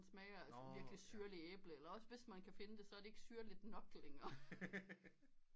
Smager af sådan virkelig syrlig æble eller også hvis man kan finde det så er det ikke syrlig nok længere